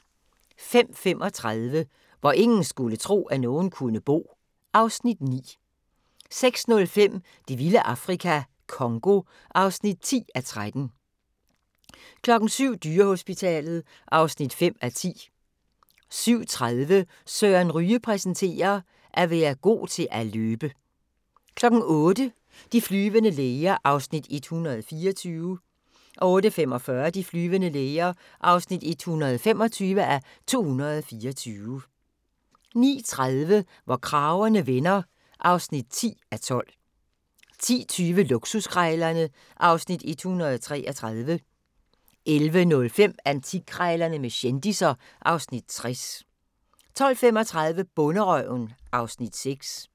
05:35: Hvor ingen skulle tro, at nogen kunne bo (Afs. 9) 06:05: Det vilde Afrika - Congo (10:13) 07:00: Dyrehospitalet (5:10) 07:30: Søren Ryge præsenterer: At være god til at løbe 08:00: De flyvende læger (124:224) 08:45: De flyvende læger (125:224) 09:30: Hvor kragerne vender (10:12) 10:20: Luksuskrejlerne (Afs. 133) 11:05: Antikkrejlerne med kendisser (Afs. 60) 12:35: Bonderøven (Afs. 6)